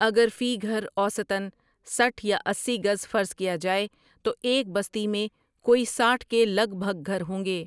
اگر فی گھر اوسطً سٹھ یا اسی گز فرض کیا جائے تو ایک بستی میں کوئی ساٹھ کے لگ بھگ گھر ہوں گے ۔